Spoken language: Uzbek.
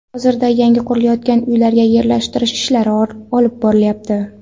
Hozirda yangi qurilayotgan uylarga yerlashtirish ishlari olib borilyapti.